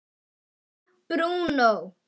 Brettum nú upp ermar.